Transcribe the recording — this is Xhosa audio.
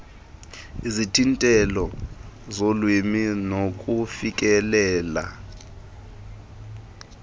izithintelo zolwimi nokufikelela